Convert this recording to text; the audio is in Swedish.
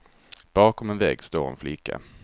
Bakom en vägg står en flicka.